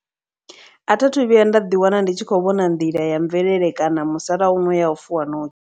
A thi athu vhuya nda ḓi wana ndi tshi khou vhona nḓila ya mvelele kana musalauno ya u fuwa ṋotsi.